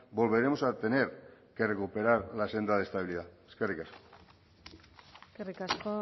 volveremos a tener que recuperar la senda de estabilidad eskerrik asko eskerrik asko